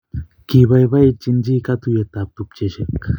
Kibaibaitynchi katuyeit ab tupcheshek